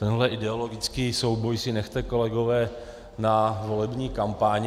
Tenhle ideologický souboj si nechte, kolegové, na volební kampaň.